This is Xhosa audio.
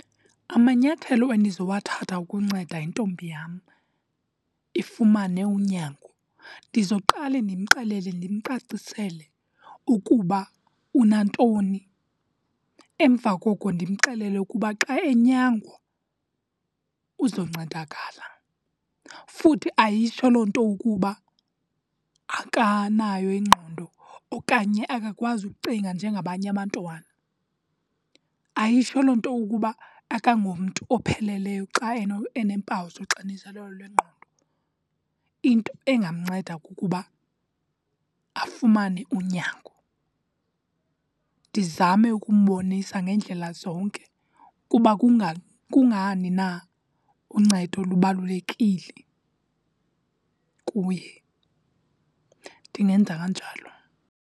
Amanyathelo endizowathatha ukunceda intombi yam ifumane unyango, ndizoqale ndimxelele ndimcacisele ukuba unantoni. Emva koko ndimxelele ukuba xa enyangwa uzoncedakala. Futhi ayitsho loo nto ukuba akanayo ingqondo okanye akakwazi ukucinga njengabanye abantwana. Ayitsho loo nto ukuba akangomntu opheleleyo xa eneempawu zoxinzelelo lwengqondo. Into engamnceda kukuba afumane unyango, ndizame ukumbonisa ngendlela zonke kuba kungani na uncedo lubalulekile kuye. Ndingenza kanjalo.